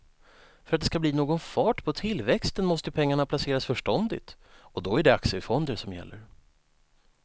För att det ska bli någon fart på tillväxten måste pengarna placeras förståndigt och då är det aktiefonder som gäller.